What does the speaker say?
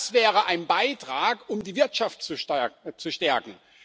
Das wäre ein Beitrag, um die Wirtschaft zu stärken.